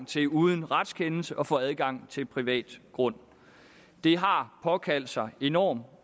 til uden retskendelse at få adgang til privat grund det har påkaldt sig enorm